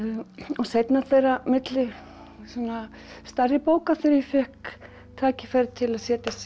seinna á milli stærra bóka þegar ég fékk tækifæri til að setjast